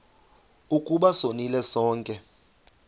ukuba sonile sonke